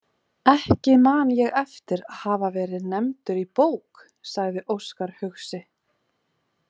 Ekki man ég eftir að hafa verið nefndur í bók, sagði Óskar hugsi.